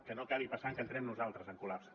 que no acabi passant que entrem nosaltres en col·lapse